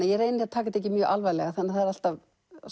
ég reyni að taka þetta ekki mjög alvarlega þannig að það er alltaf